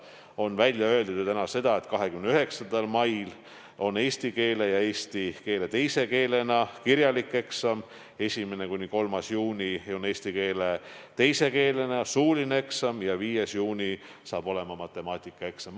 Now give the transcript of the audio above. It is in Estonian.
On välja öeldud ju ka seda, et 29. mail on eesti keele ja eesti keele teise keelena kirjalik eksam, 1.–3. juunil on eesti keele teise keelena suuline eksam ja 5. juunil matemaatikaeksam.